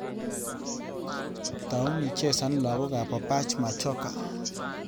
Tau ichesan lagokab opach machoka